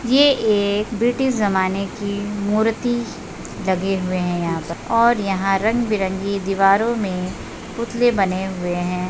ये एक ब्रिटिश जमाने की मूर्ति लगे हुए हैं यहाँ पर और यहाँ रंग-बिरंगी दीवारों में पुतले बने हुए हैं।